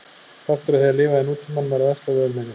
Partur af því að lifa í nútímanum er að versla við umheiminn.